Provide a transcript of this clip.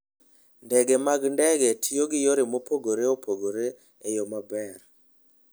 Ndege mag ndege tiyo gi yore mopogore opogore e yo maber.